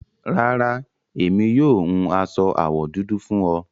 Rárá, emi yóò hún aṣọ awọ dúdú fún ọ